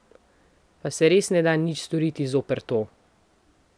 Pa se res ne da nič storiti zoper to?